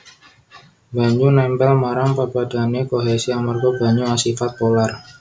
Banyu nèmpèl marang pepadhané kohesi amarga banyu asifat polar